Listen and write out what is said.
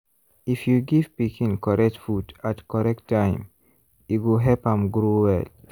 if you give pikin correct food at correct time e go help am grow well.